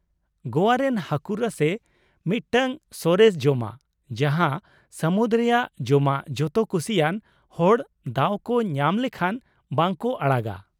ᱜᱚᱣᱟ ᱨᱮᱱ ᱦᱟᱹᱠᱩ ᱨᱟᱥᱮ ᱢᱤᱫᱴᱟᱝ ᱥᱚᱨᱮᱥ ᱡᱚᱢᱟᱜ ᱡᱟᱦᱟᱸ ᱥᱟᱹᱢᱩᱫ ᱨᱮᱭᱟᱜ ᱡᱚᱢᱟᱜ ᱡᱚᱛᱚ ᱠᱩᱥᱤᱭᱟᱱ ᱦᱚᱲ ᱫᱟᱣ ᱠᱚ ᱧᱟᱢ ᱞᱮᱠᱷᱟᱱ ᱵᱟᱝ ᱠᱚ ᱟᱲᱟᱜᱟ ᱾